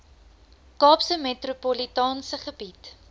kaapse metropolitaanse gebied